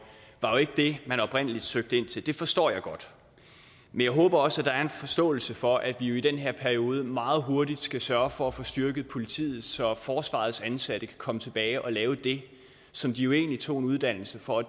var jo ikke det man oprindeligt søgte ind til det forstår jeg godt men jeg håber også at der er en forståelse for at vi i den her periode meget hurtigt skal sørge for at få styrket politiet så forsvarets ansatte kan komme tilbage og lave det som de jo egentlig tog en uddannelse for